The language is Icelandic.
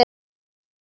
Ekki nóg með það.